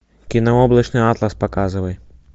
кино облачный атлас показывай